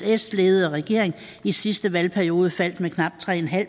s ledede regering i sidste valgperiode faldt med knap tre